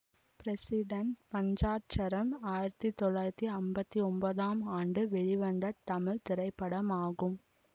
president Panchatcharam ஆயிரத்தி தொள்ளாயிரத்தி அம்பத்தி ஒன்பதாம் ஆண்டு வெளிவந்த தமிழ் திரைப்படமாகும்